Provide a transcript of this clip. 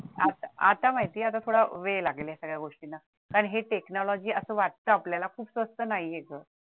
आता आता माहिती वेळ लागेल या गोष्टीला कारण हे technology असं वाटते आपल्याला खूप स्वस्त नाहीये ते